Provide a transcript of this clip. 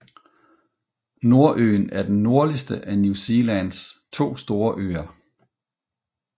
Nordøen er den nordligste af New Zealands to store øer